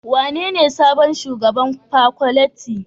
Wanene sabon shugaban Paculty?